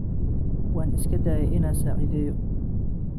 Wan iskadaye ina sacidheyo.